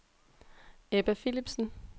Ebba Philipsen